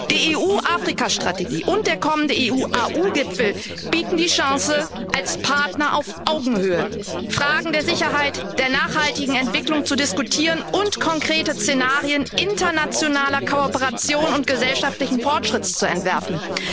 Die EU Afrika Strategie und der kommende EU AU Gipfel bieten die Chance, als Partner auf Augenhöhe Fragen der Sicherheit, der nachhaltigen Entwicklung zu diskutieren und konkrete Szenarien internationaler Kooperation und gesellschaftlichen Fortschritts zu entwerfen.